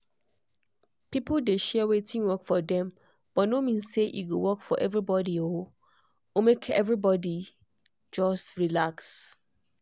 people dey share wetin work for dem but no mean say e go work for everybody um or make everybody just relax.